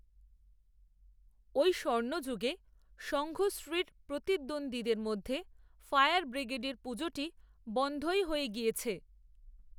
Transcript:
ওই স্বর্ণযুগে, সঙ্ঘশ্রীর প্রতিদ্বন্দ্বীদের মধ্যে, ফায়ার ব্রিগেডের পুজোটি বন‌ধই হয়ে গিয়েছে